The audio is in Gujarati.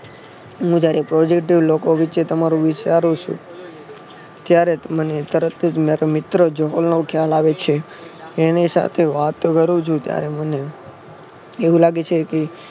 હું જયારે positive લોકો વિષે તમારું વિચારું છું ત્યારે મને તરત જ મારો મિત્ર જહોલનો ખ્યાલ આવે છે. એની સાથે વાત કરું છું ત્યારે મને એવું લાગે છે કે